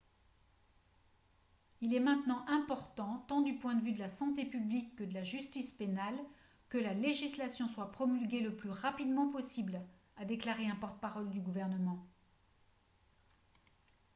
« il est maintenant important tant du point de vue de la santé publique que de la justice pénale que la législation soit promulguée le plus rapidement possible » a déclaré un porte-parole du gouvernement